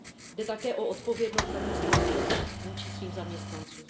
Jde také o odpovědnost zaměstnavatelů vůči svým zaměstnancům.